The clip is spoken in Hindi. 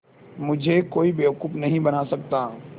मुझे कोई बेवकूफ़ नहीं बना सकता